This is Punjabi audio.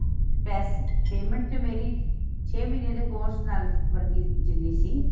ਵੇਸੇ payment ਤੇ ਮੇਰੀ ਛੇ ਮਹੀਨੇ ਦੇ course ਨਾਲ ਵਰਗੀ ਜਿੰਨੀ ਸੀ